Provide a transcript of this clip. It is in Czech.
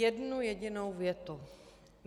Jednu jedinou větu.